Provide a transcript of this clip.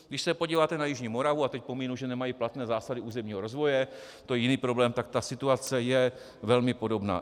Když se podíváte na jižní Moravu, tak teď pominu, že nemají platné zásady územního rozvoje, to je jiný problém, tak ta situace je velmi podobná.